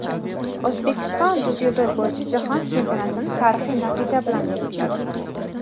O‘zbekiston dzyudo bo‘yicha Jahon chempionatini tarixiy natija bilan yakunladi;.